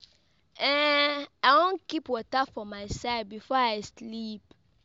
um I wan keep water for my side before I sleep.